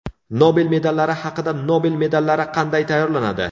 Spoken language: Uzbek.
Nobel medallari haqida Nobel medallari qanday tayyorlanadi?